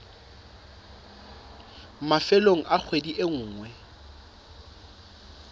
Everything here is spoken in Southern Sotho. mafelong a kgwedi e nngwe